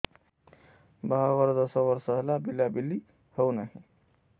ବାହାଘର ଦଶ ବର୍ଷ ହେଲା ପିଲାପିଲି ହଉନାହି